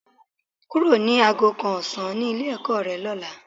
Kúrò ní aago kan ọ̀sán ní ilé-ẹ̀kọ́ rẹ lọ́la.